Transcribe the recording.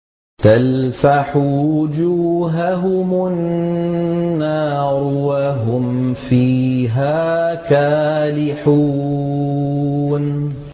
تَلْفَحُ وُجُوهَهُمُ النَّارُ وَهُمْ فِيهَا كَالِحُونَ